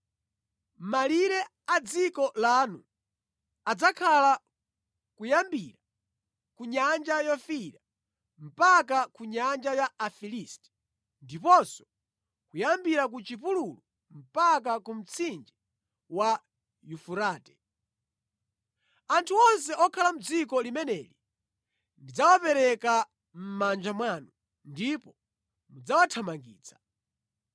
“Malire a dziko lanu adzakhala kuyambira ku Nyanja Yofiira mpaka ku nyanja ya Afilisti, ndiponso kuyambira ku chipululu mpaka ku mtsinje wa Yufurate. Anthu onse okhala mʼdziko limeneli ndidzawapereka mʼmanja mwanu ndipo mudzawathamangitsa.